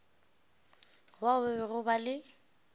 bao ba bego ba le